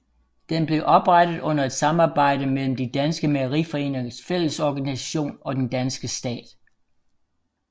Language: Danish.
Den blev oprettet under et samarbejde mellem De Danske mejeriforeningers fællesorganisation og den danske stat